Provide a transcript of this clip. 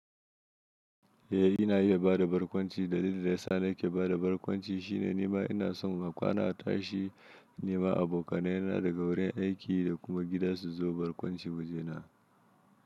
Eh ina iya ba da barkwanci. Dalilin da ya sa nake ba da barkwanci shine nima ina son a kwana tashi nima abokanai na daga wurin aiki da kuma gida su zo barkwanci wajena.